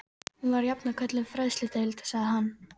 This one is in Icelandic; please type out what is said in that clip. Hún var jafnan kölluð fræðsludeild sagði hann.